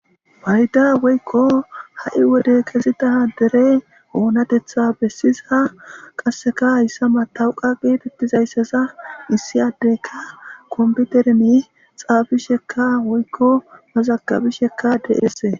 mayda woykko ha7i wode kezitaha dere oonatetha bessiza qasseka hayssa matawuqa geetettizayssaza issi addeyka kompitermi xaabishekka woykko mazakabishekka deesee